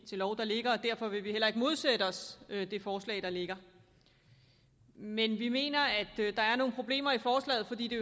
til lov der ligger og derfor vil vi heller ikke modsætte os det forslag der ligger men vi mener at der er nogle problemer i forslaget fordi det